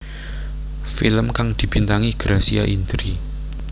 Film kang dibintangi Gracia Indri